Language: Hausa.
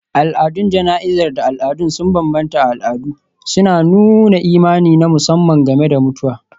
Al'adun jana'izar da al'adu sun bambanta a al'adu, suna nuna imani na musamman game da mutuwa.